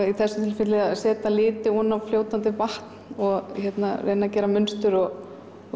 í þessu tilfelli að setja liti ofan á fljótandi vatn og reyna að gera munstur og